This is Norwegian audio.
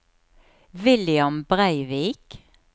William Breivik